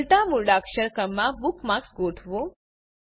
ઉલટા મૂળાક્ષર ક્રમમાં બુકમાર્ક્સ ગોઠવો